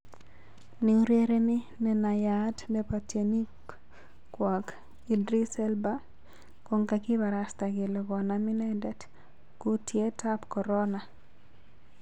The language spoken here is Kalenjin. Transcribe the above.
Neurereni nenayaat nepo tyenwokik Idris Elba konkakiparasta kele konam ineten kutiet ap korona.